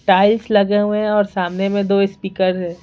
Tiles लगे हुए हैं और सामने में दो स्पीकर है।